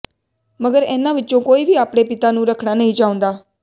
ਮਗਰ ਇਹਨਾਂ ਵਿਚੋਂ ਕੋਈ ਵੀ ਆਪਣੇ ਪਿਤਾ ਨੂੰ ਰੱਖਣਾ ਨਹੀਂ ਚਾਹੁੰਦਾ